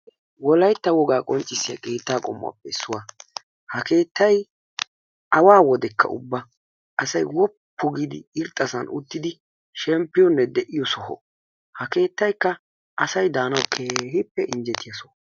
Wolaytta wogaa qonccisiyaa kettaa qommuwaappe issuwaa. Ha keettay awaa wodekka ubba asay wooppu giidi irxxasaan uttidi shempiyoonne de'iyoo soho. Ha keettaykka asay daanawu keehppe injjetiyaa soho.